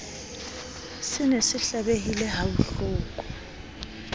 se ne se hlabehile habohloko